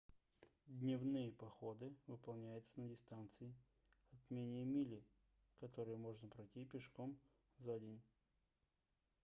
дневные походы выполняются на дистанции от менее мили которые можно пройти пешком за день